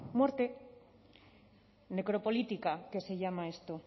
muerte necropolítica que se llama esto